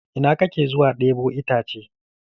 Ina kake zuwa ɗebo itace?